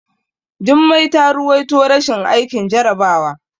Jummai ta ruwaito rashin aikin jarabawa.